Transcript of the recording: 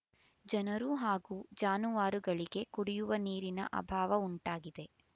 ಜನರು ಹಾಗೂ ಜಾನುವಾರುಗಳಿಗೆ ಕುಡಿಯುವ ನೀರಿನ ಅಭಾವ ಉಂಟಾಗಿದೆ